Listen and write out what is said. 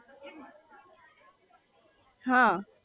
હ